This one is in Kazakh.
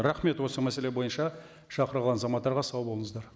рахмет осы мәселе бойынша шақырылған азаматтарға сау болыңыздар